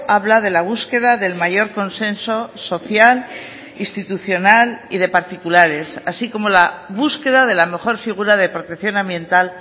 habla de la búsqueda del mayor consenso social institucional y de particulares así como la búsqueda de la mejor figura de protección ambiental